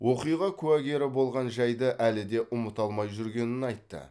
оқиға куәгері болған жайды әлі де ұмыта алмай жүргенін айтты